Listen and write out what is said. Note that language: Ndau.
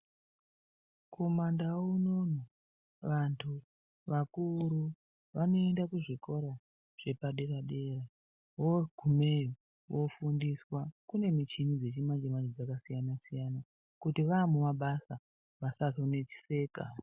Kumandau unono vantu vakuru vanoenda kuzvikora zvepadera-dera. Voogumeyo vofundiswa. Kune michini dzechimanje-manje dzakasiyana-siyana, kuti vaakumabasa vasazoneseka.